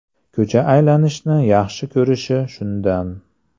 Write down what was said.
Ko‘cha aylanishni yaxshi ko‘rishi shundan.